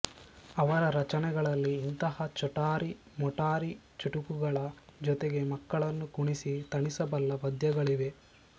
ಅವರ ರಚನೆಗಳಲ್ಲಿ ಇಂತಹ ಚೋಟಾರಿ ಮೋಟಾರಿ ಚುಟುಕಗಳ ಜೊತೆಗೆ ಮಕ್ಕಳನ್ನು ಕುಣಿಸಿ ತಣಿಸಬಲ್ಲ ಪದ್ಯಗಳಿವೆ